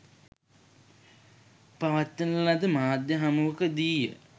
පවත්වන ලද මාධ්‍ය හමුවකදීය.